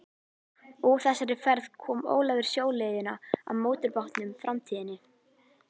Úr þessari ferð kom Ólafur sjóleiðina á mótorbátnum Framtíðinni.